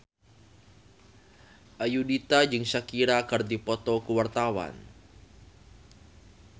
Ayudhita jeung Shakira keur dipoto ku wartawan